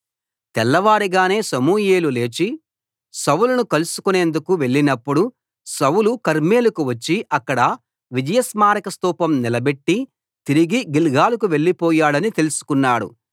తెల్లవారగానే సమూయేలు లేచి సౌలును కలుసుకొనేందుకు వెళ్ళినప్పుడు సౌలు కర్మెలుకు వచ్చి అక్కడ విజయ స్మారక స్థూపం నిలబెట్టి తిరిగి గిల్గాలుకు వెళ్లిపోయాడని తెలుసుకున్నాడు